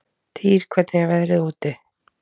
Týr, hvernig er veðrið úti?